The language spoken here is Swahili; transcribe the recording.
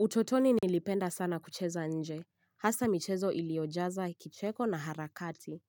Utotoni nilipenda sana kucheza nje, hasa michezo iliyojaza kicheko na harakati,